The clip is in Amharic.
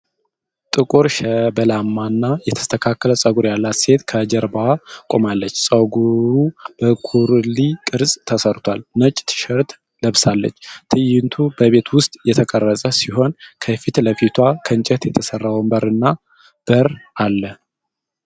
ጥቁር፣ ሸበላማና የተስተካከለ ጸጉር ያላት ሴት ከጀርባዋ ቆማለች። ፀጉሩ በኩርሊ ቅርጽ ተሠርቷል፤ ነጭ ቲሸርት ለብሳለች። ትዕይንቱ በቤት ውስጥ የተቀረጸ ሲሆን፣ ከፊት ለፊቷ ከእንጨት የተሠራ ወንበርና በር አለ።